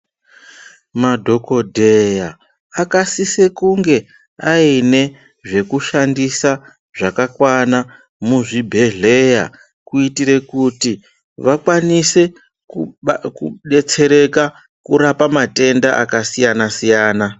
Madhokodheya akasise kunge aine zvekushandisa zvakakwana muzvibhedhleya kuitire kuti vakwanise kudetsereka kurapa matenda akasiyana siyana.